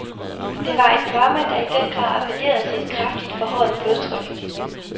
Det var et drama, der i den grad appellerede til kraftigt forhøjet blodtryk.